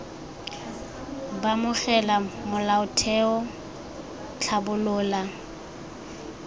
b amogela molaotheo c tlhabolola